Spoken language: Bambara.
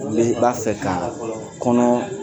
Ol'i b'a fɛ ka kɔnɔɔ